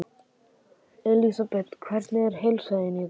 Elísabet: Hvernig er heilsa þín í dag?